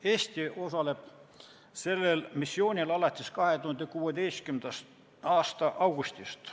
Eesti osaleb sellel missioonil alates 2016. aasta augustist.